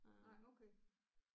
Nej okay